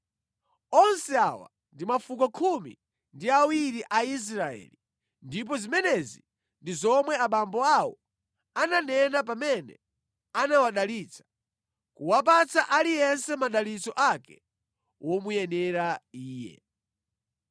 Onse awa ndi mafuko khumi ndi awiri a Israeli, ndipo zimenezi ndi zomwe abambo awo ananena pamene anawadalitsa, kuwapatsa aliyense madalitso ake womuyenera iye.